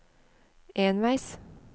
enveis